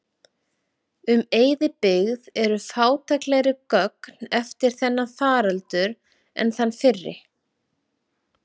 Um eyðibyggð eru fátæklegri gögn eftir þennan faraldur en þann fyrri.